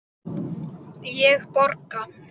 Ég borga!